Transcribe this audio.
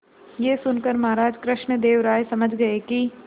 यह सुनकर महाराज कृष्णदेव राय समझ गए कि